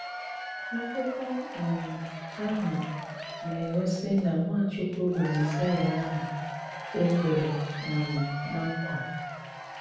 Ákụkọ́ um áhụ́ na-éghósí ná Nwáchúkwú bụ́ Mésáyá áhụ é kwèrè um ná nkwà.